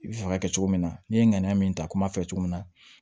I bɛ fɛ ka kɛ cogo min na n'i ye ŋaniya min ta komi a fɛ cogo min na